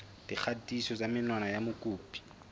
dikgatiso tsa menwana ya mokopi